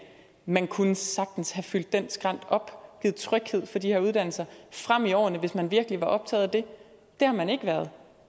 man kunne sagtens have fyldt den skrænt op givet tryghed for de her uddannelser frem i årene hvis man virkelig var optaget af det det har man ikke været